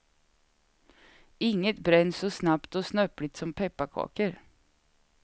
Inget bränns så snabbt och snöpligt som pepparkakor.